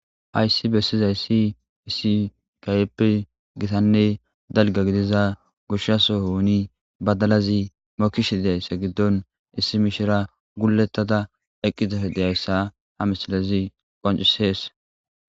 hayssi bessizayissi issi gaypp gitanne dalga gidiza gushaso oni badalazi mokish diyayssa giddon issi mishira gullettada eqqizaf deyayssa ha misilazi qancisees